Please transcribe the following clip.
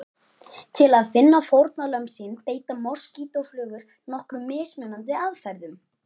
Til að finna fórnarlömb sín beita moskítóflugur nokkrum mismunandi aðferðum.